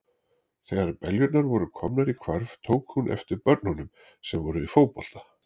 Þegar beljurnar voru komnar í hvarf, tók hún eftir börnunum sem voru í fótbolta.